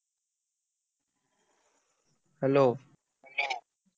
Hello.